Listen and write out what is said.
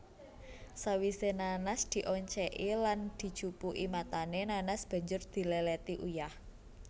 Sawise nanas dioncéki lan dijupuki matané nanas banjur diléléti uyah